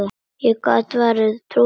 Ég gat vart trúað þessu.